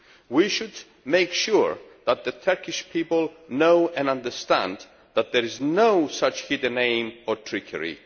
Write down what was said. We should make sure that the Turkish people know and understand that there is no such hidden aim or trickery.